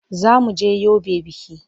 Za mu je Yobe biki.